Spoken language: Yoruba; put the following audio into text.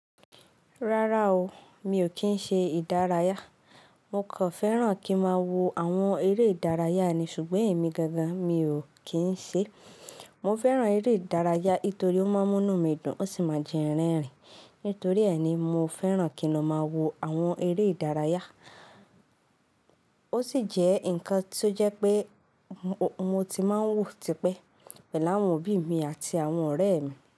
Rárá o, mi ò kí ń ṣe ìdárayá. Mo kò fẹ́ràn kí máa wo àwọn eré ìdárayá ni ṣùgbọ́n èmi gangan mi ò kí ń ṣe. Mo fẹ́ràn eré ìdárayá torí ó máa ń mú mí dùn, ó sì máa ń jẹ́ rẹ́rìn. Nítorí ẹ́ ni mo fẹ́ràn kí n ó máa wo àwọn eré ìdárayá. Ó sì jẹ́ nǹkan tó jẹ́ pé mo ti máa ń wò tí pẹ́ pẹ̀lú àwọn òbí mi àti àwọn ọ̀rẹ́ mi.